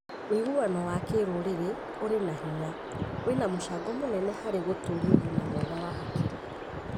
Wĩguano wa kĩrũrĩrĩ ũrĩ na hinya wĩna mũcango mũnene harĩ gũtũũria ũgima mwega wa hakiri.